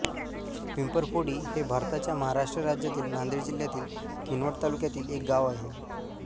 पिंपरफोडी हे भारताच्या महाराष्ट्र राज्यातील नांदेड जिल्ह्यातील किनवट तालुक्यातील एक गाव आहे